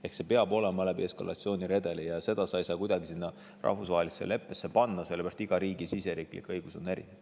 Ehk peab olema eskalatsiooniredel, aga seda sa ei saa kuidagi rahvusvahelisse leppesse panna, sellepärast et iga riigi õigus on erinev.